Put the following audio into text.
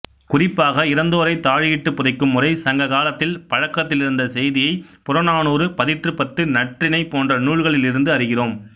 குறிப்பாக இறந்தோரை தாழியிட்டு புதைக்கும் முறை சங்க காலத்தில் பழக்கத்திலிருந்த செய்தியை புறநானூறு பதிற்றுப்பத்து நற்றிணை போன்ற நூல்களிலிருந்து அறிகிறோம்